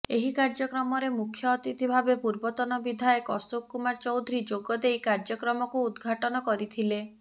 ଏହି କାର୍ଯ୍ୟକ୍ରମରେ ମୁଖ୍ୟ ଅତିଥି ଭାବେ ପୂର୍ବତନ ବିଧାୟକ ଅଶୋକ କୁମାର ଚୌଧୁରୀ ଯୋଗଦେଇ କାର୍ଯ୍ୟକ୍ରମକୁ ଉଦଘାଟନ କରିଥିଲେ